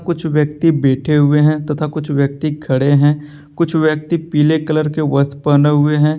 कुछ व्यक्ति बैठे हुए है तथा कुछ व्यक्ति खड़े है कुछ व्यक्ति पीले कलर के वस्त्र पहने हुए है।